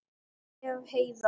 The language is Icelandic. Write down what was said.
Ef. Heiðar